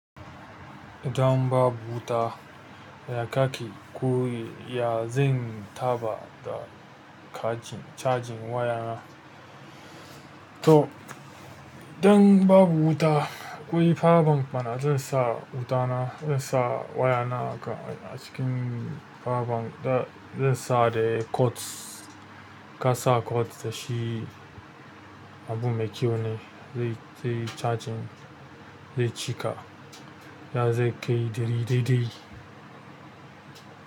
Dan babu wuta ya kake koyi, ya zan taɓa da cajin wayana. To, idan babu wuta, akwai power bank mana zan sa wutana, zan sa wayana haka a cikin power bank da zan sa da code. Ka sa code da shi abu mai kyau ne. Zai, zai cajin, zai cika. Zai kai diri diri.